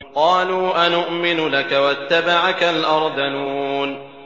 ۞ قَالُوا أَنُؤْمِنُ لَكَ وَاتَّبَعَكَ الْأَرْذَلُونَ